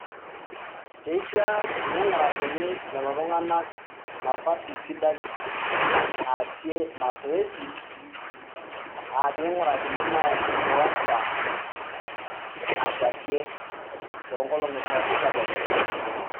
keisha neingurakini lelo tunganak nafasi sidai naasie masoesi aa pingurakini naa enkiwanja nakwatie tongolongi pooki tedekenya.